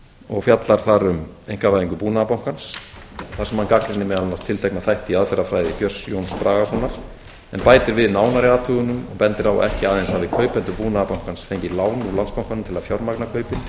og fjallar þar um einkavæðingu búnaðarbankans þar sem hann gagnrýnir meðal annars tiltekna þætti í aðferðafræði björns jóns bragasonar en bætir við nánari athugunum og bendir á að ekki aðeins hafi kaupendur búnaðarbankans fengið lán úr landsbankanum til að fjármagna kaupin